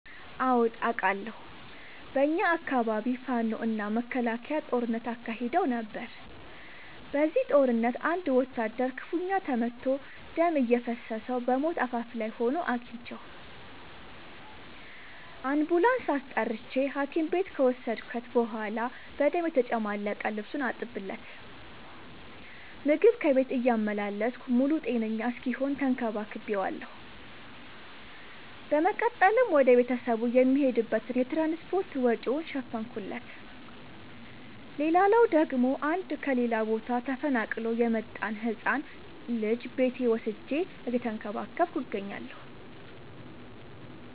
አዎድ አቃለሁ። በኛ አካባቢ ፋኖ እና መከላከያ ጦርነት አካሂደው ነበር። በዚህ ጦርነት አንድ ወታደር ክፋኛ ተመቶ ደም እየፈሰሰው በሞት አፋፍ ላይ ሆኖ አግኝቼው። አንቡላንስ አስጠርቼ ሀኪም ቤት ከወሰድከት በኋላ በደም የተጨማለቀ ልብሱን አጠብለት። ምግብ ከቤት እያመላለስኩ ሙሉ ጤነኛ እስኪሆን ተከባክ ቤዋለሁ። በመቀጠልም ወደ ቤተሰቡ የሚሄድበትን የትራንስፓርት ወጪውን ሸፈንኩለት። ሌላላው ደግሞ አንድ ከሌላ ቦታ ተፈናቅሎ የመጣን ህፃን ልጅ ቤቴ ወስጄ እየተንከባከብኩ እገኛለሁ።